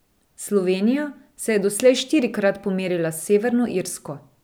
Slovenija se je doslej štirikrat pomerila s Severno Irsko.